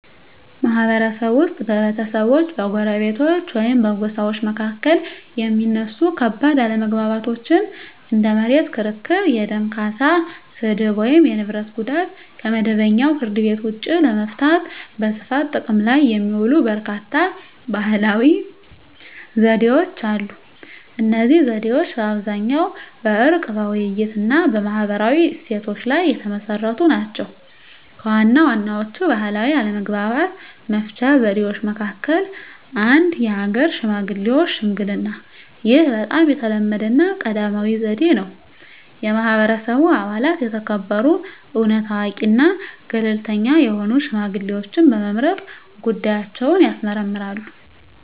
ማህበረሰብ ውስጥ በቤተሰቦች፣ በጎረቤቶች ወይም በጎሳዎች መካከል የሚነሱ ከባድ አለመግባባቶችን (እንደ መሬት ክርክር፣ የደም ካሳ፣ ስድብ፣ ወይም የንብረት ጉዳት) ከመደበኛው ፍርድ ቤት ውጭ ለመፍታት በስፋት ጥቅም ላይ የሚውሉ በርካታ ባህላዊ ዘዴዎች አሉ። እነዚህ ዘዴዎች በአብዛኛው በዕርቅ፣ በውይይት፣ እና በማህበራዊ እሴቶች ላይ የተመሰረቱ ናቸው። ከዋና ዋናዎቹ ባህላዊ አለመግባባት መፍቻ ዘዴዎች መካከል - 1. የሀገር ሽማግሌዎች ሽምግልናይህ በጣም የተለመደውና ቀዳሚው ዘዴ ነው። የማህበረሰቡ አባላት የተከበሩ፣ እውነት አዋቂ እና ገለልተኛ የሆኑ ሽማግሌዎችን በመምረጥ ጉዳያቸውን ያስመርምራሉ።